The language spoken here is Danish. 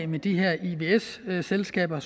med de her ivs selskaber